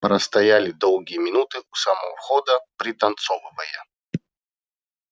простояли долгие минуты у самого входа пританцовывая